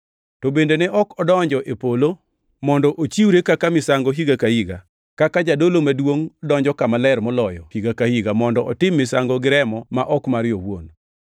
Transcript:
To bende ne ok odonjo e polo mondo ochiwre kaka misango higa ka higa, kaka jadolo maduongʼ donjo Kama Ler Moloyo higa ka higa mondo otim misango gi remo ma ok mare owuon.